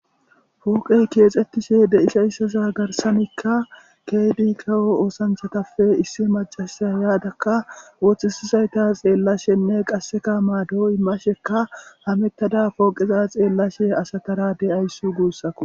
fuuqey keexxettishe deishayssaza garsanikka keydi kawo oosanchatappe issi macasaya yaadakka woththisizayta xeellashenne qasseka maado imashekka hamettada pooqeza xeellashe asatara de7ayissu guussak